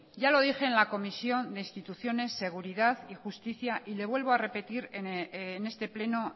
ya lo dije en la comisión de instituciones seguridad y justicia y le vuelvo a repetir en este pleno